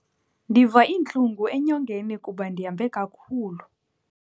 Ndiva iintlungu enyongeni kuba ndihambe kakhulu.